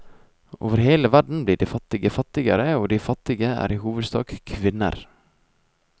Over hele verden blir de fattige fattigere, og de fattige er i hovedsak kvinner.